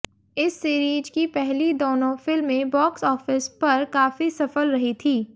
इस सीरीज की पहली दोनों फिल्में बॉक्स ऑफिस पर काफी सफल रही थी